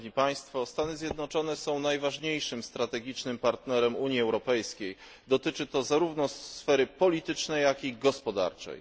Stany Zjednoczone są najważniejszym strategicznym partnerem Unii Europejskiej, dotyczy to zarówno sfery politycznej, jak i gospodarczej.